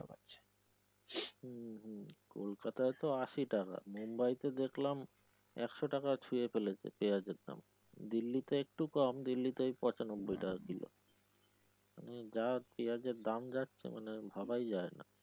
হম কোলকাতা তো আশি টাকা, মোম্বাইতো দেখালাম একশো টাকা ছুয়ে ফেলেছে পেঁয়াজের দাম দিল্লিতে একটু কম দিল্লিতে পঁচানব্বই টাকা কিলো যা পিঁয়াজের দাম যাচ্ছে মানে ভাবাই যায় নাহ।